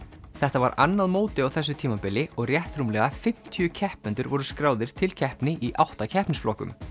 þetta var annað mótið á þessu tímabili og rétt rúmlega fimmtíu keppendur voru skráðir til keppni í átta keppnisflokkum